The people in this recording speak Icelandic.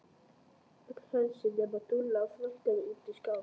Öll hersingin nema Dúlla þrammaði út í skafl.